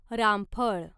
रामफळ